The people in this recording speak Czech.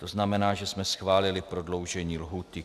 To znamená, že jsme schválili prodloužení lhůty.